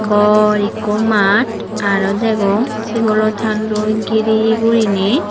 bor ikko mut araw degong sigolo tarloi gire guriney.